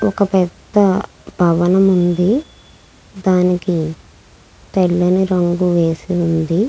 ఒక పెద్ద భవనం ఉంది. దానికి తెల్లని రంగు వేసి ఉంది.